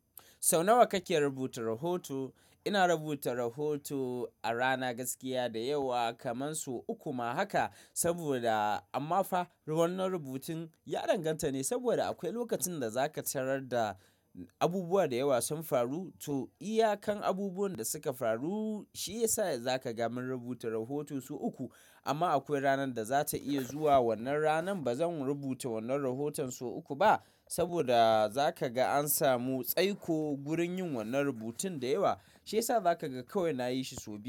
Sau nawa kake rubuta rahoto? Ina rubuta rahoto a rana gaskiya da yawa kaman sau uku ma haka, saboda amma fa ruwan na rubutun ya danganta ne saboda akwai lokacin da za ka tarar da abubuwa da yawa sun faru. To iyakan abubuwan da suka faru shi ya sa za ka gamun rubuta rahoton su uku. Amma akwai ranar da za ta iya zuwa wannan ranan ba zan rubuta wannan rahoton sau uku ba saboda za ka ga an samu tsaiko gurin yin wannan rubutun da yawa, shi ya sa za ka ga kawai na yi shi sau biyu.